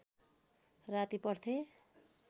राति पढ्थे